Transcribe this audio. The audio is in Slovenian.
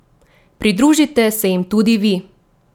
Pridružite se jim tudi vi!